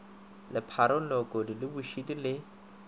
lepharong leokodi le bošidi le